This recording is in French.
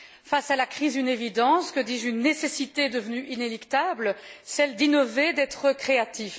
Face à la crise, une évidence, que dis je, une nécessité devenue inéluctable, celle d'innover, d'être créatif.